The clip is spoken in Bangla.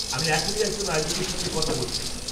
আমি এখনই একজন আয়োজকের সঙ্গে কথা বলছিলাম।